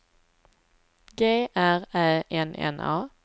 G R Ä N N A